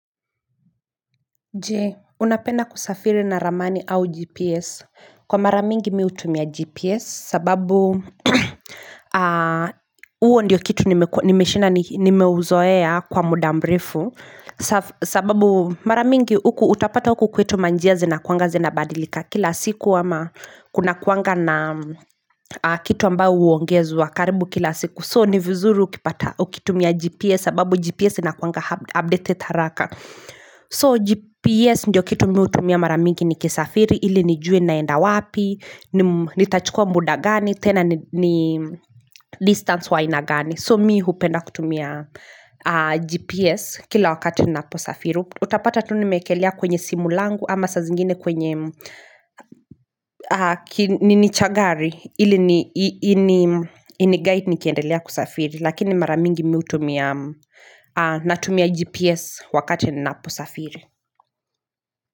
Je, unapenda kusafiri na ramani au GPS. Kwa maramingi mi utumia GPS sababu uo ndiyo kitu nimeshinda nimeuzoea kwa muda mrefu sababu maramingi utapata uku kwetu ma njia zinakuanga zinabadilika kila siku ama kuna kuanga na kitu ambao uongezwa karibu kila siku. So ni vizuru ukitumia GPS sababu GPS inakuanga update haraka So GPS ndio kitu mi utumia maramingi nikisafiri ili nijue naenda wapi, nitachukua muda gani, tena ni distance wainagani So mi hupenda kutumia GPS kila wakati naposafiri Utapata tuni mekelea kwenye simulangu ama sa zingine kwenye nicha gari Hili iniguide nikiendelea kusafiri Lakini maramingi mi utumia Natumia GPS wakati ninaapo safiri.